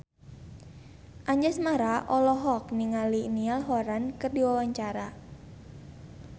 Anjasmara olohok ningali Niall Horran keur diwawancara